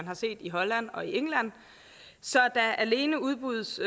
har set i holland og england så der alene udbydes